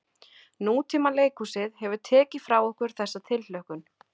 Nútímaleikhúsið hefur tekið frá okkur þessa tilhlökkun.